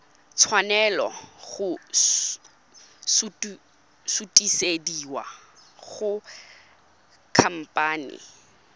tshwanela go sutisediwa go khamphane